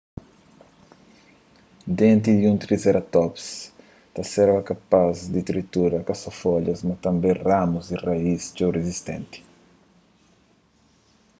denti di un triseratops ta serba kapaz di tritura ka so folhas mas tanbê ramus y raíz txeu rizistenti